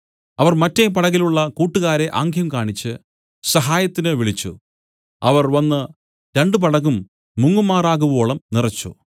അവർ മറ്റെ പടകിലുള്ള കൂട്ടുകാരെ ആംഗ്യം കാണിച്ച് സഹായത്തിന് വിളിച്ചു അവർ വന്നു രണ്ടു പടകും മുങ്ങുമാറാകുവോളും നിറച്ചു